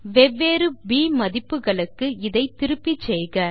வெவ்வேறு ப் மதிப்புகளுக்கு இதை திருப்பிச்செய்க